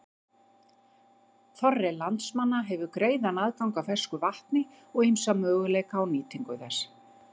Þorri landsmanna hefur greiðan aðgang að fersku vatni og ýmsa möguleika á nýtingu þess.